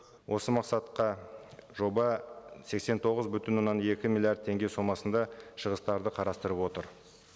осы мақсатқа жоба сексен тоғыз бүтін оннан екі миллиард теңге сомасында шығыстарды қарастырып отыр